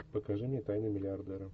покажи мне тайны миллиардера